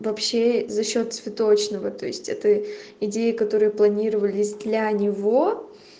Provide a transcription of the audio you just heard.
вообще за счёт цветочного то есть это идеи которые планировались для него